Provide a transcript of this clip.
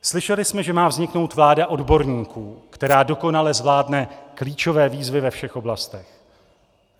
Slyšeli jsme, že má vzniknout vláda odborníků, která dokonale zvládne klíčové výzvy ve všech oblastech.